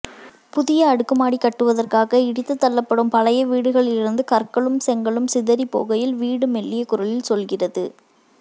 புதிய அடுக்குமாடி கட்டுவதற்காக இடித்துத் தள்ளப்படும் பழைய வீடுகளிலிருந்து கற்களும் செங்கல்லும் சிதறிப் போகையில் வீடு மெல்லிய குரலில் சொல்கிறது